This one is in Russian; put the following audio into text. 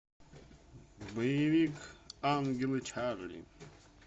боевик ангелы чарли